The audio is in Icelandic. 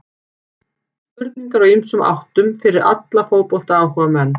Spurningar úr ýmsum áttum fyrir alla fótboltaáhugamenn.